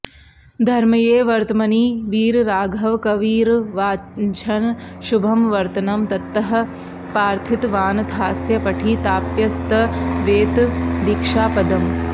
धर्म्ये वर्त्मनि वीरराघवकविर्वाञ्छन् शुभं वर्तनं तत्तः प्रार्थितवानथास्य पठिताप्यस्त्वेतदीक्षापदम्